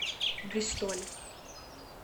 бристоль